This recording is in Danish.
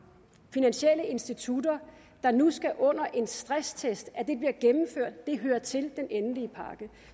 finansielle institutter nu skal under en stresstest det hører til den endelige pakke